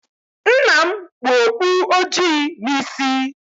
Nna m kpu okpu ojii n'isi